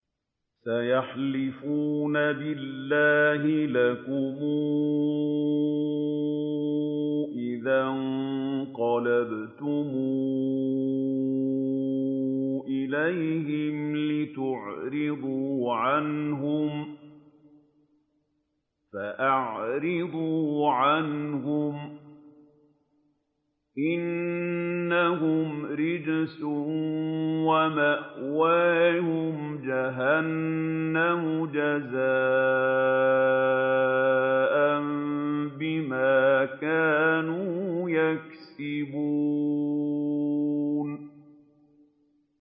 سَيَحْلِفُونَ بِاللَّهِ لَكُمْ إِذَا انقَلَبْتُمْ إِلَيْهِمْ لِتُعْرِضُوا عَنْهُمْ ۖ فَأَعْرِضُوا عَنْهُمْ ۖ إِنَّهُمْ رِجْسٌ ۖ وَمَأْوَاهُمْ جَهَنَّمُ جَزَاءً بِمَا كَانُوا يَكْسِبُونَ